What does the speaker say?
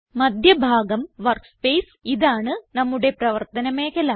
മദ്ധ്യ ഭാഗം വർക്ക്സ്പേസ് ഇതാണ് നമ്മുടെ പ്രവർത്തന മേഖല